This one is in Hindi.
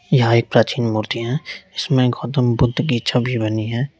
यहां एक प्राचीन मूर्ति है जिसमें गौतम बुद्ध की छवि बनी है।